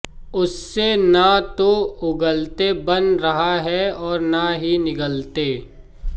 उससे ना तो उगलते बन रहा है और ना ही निगलते